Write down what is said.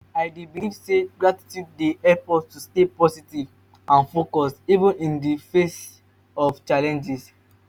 i dey believe say gratitude dey help us to stay positive and focused even in di face of challenges.